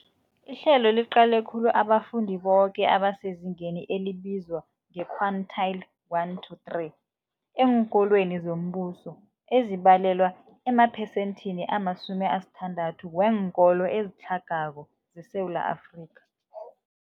Ihlelo liqale khulu abafundi boke abasezingeni elibizwa nge-quintile 1-3 eenkolweni zombuso, ezibalelwa emaphesenthini ama-60 weenkolo ezitlhagako zeSewula Afrika.